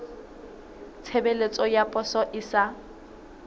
tshebeletso ya poso e sa